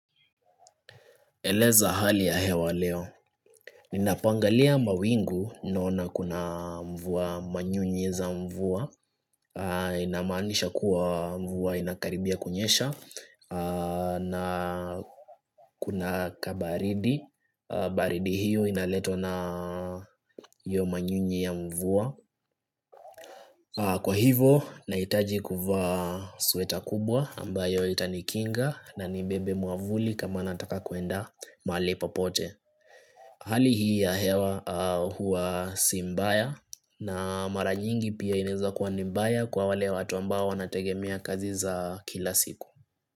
Eleza hali ya hewa leo Ninapoangalia mawingu ninaona kuna mvua manyunye za mvua inamaanisha kuwa mvua inakaribia kunyesha na kuna kabaridi baridi hiyo inaletwa na hiyo manyunye ya mvua Kwa hivo nahitaji kuvaa sweta kubwa ambayo itanikinga na nibebe mwavuli kama nataka kuenda mahali popote Hali hii ya hewa huwa si mbaya na mara nyingi pia inaeza kuwa ni mbaya kwa wale watu ambao wanategemea kazi za kila siku.